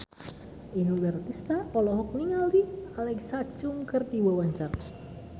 Inul Daratista olohok ningali Alexa Chung keur diwawancara